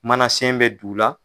Mana sen bɛ d' u la.